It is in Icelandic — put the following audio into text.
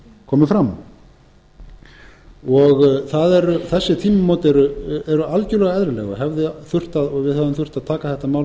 algjörlega eðlileg og við hefðum þurft að taka þetta mál til umræðu miklu fyrr það er í raun og veru ekki okkur